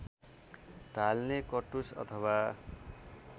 ढाल्ने कटुस अथवा